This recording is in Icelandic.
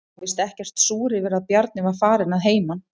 Hún var víst ekkert súr yfir að Bjarni var farinn að heiman.